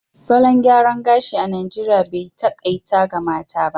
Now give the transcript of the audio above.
Salon gyaran gashi a Najeriya bai takaita ga mata ba